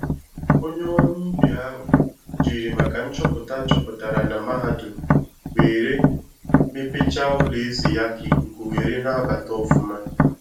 Onye ọrụ ubi ahụ jiri maka nchọpụta achọpụtara na mahadum were mepecha ụlọ ezi ya ka ikuku were na-abata ọfụma